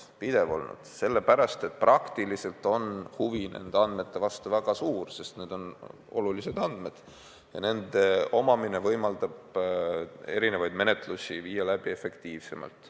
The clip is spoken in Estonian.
See on pidev olnud sellepärast, et huvi nende andmete vastu on väga suur, sest need on olulised andmed ja nende omamine võimaldab teatud menetlusi viia läbi efektiivsemalt.